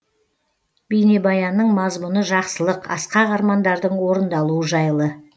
бейнебаянның мазмұны жақсылық асқақ армандардың орындалуы жайлы